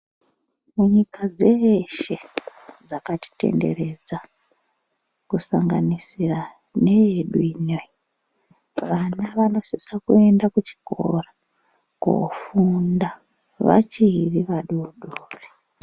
Munyika dzeshe dzakatitenderedza kusanganisira needu ineyi, vana vanosisa kuenda kuchikora kofunda vachiri vadoodori.